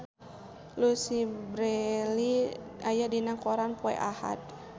Louise Brealey aya dina koran poe Ahad